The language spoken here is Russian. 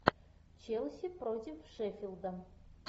челси против шеффилда